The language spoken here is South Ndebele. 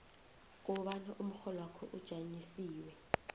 kobana umrholwakho ujanyisiwe